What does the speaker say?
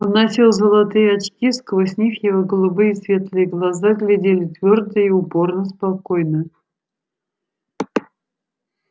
он носил золотые очки сквозь них его голубые светлые глаза глядели твёрдо и упорно-спокойно